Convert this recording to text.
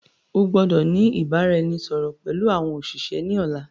O gbọ́dọ̀ ni ìbáraẹnisọọ̀rọ̀ pẹlu àwọn òṣìṣẹ́ ni ọ̀la.